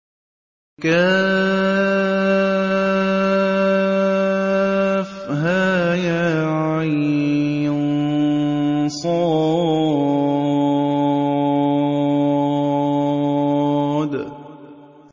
كهيعص